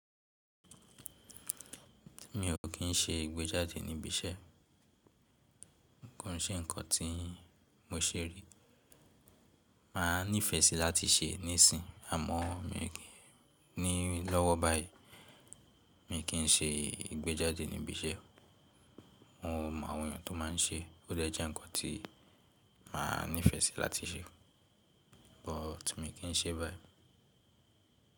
Mi ò kín ṣe ìgbéjáde níbi iṣẹ́, kò n ṣe ǹkan tí mo ṣe rí. Màá nífẹsí láti ṣe níìsín, àmọ mi ò kín ní lọ́wọ́ báyìí. Mi kín ṣe ìgbéjáde níbi iṣẹ́. Mo mọ àwọn ènìyàn tó má n ṣe, ó de je nǹkan tí màá nífẹsí láti ṣe but mi kín ṣe báyìí.